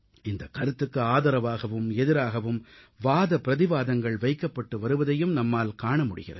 இந்த கருத்துக்கு ஆதரவாகவும் எதிராகவும் வாதபிரதிவாதங்கள் வைக்கப்பட்டு வருவதையும் நம்மால் காண முடிகிறது